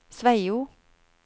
Sveio